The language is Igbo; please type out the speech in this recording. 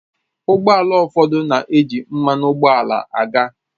Ụgbọ ala ụfọdụ na-eji mmanụ ụgbọala aga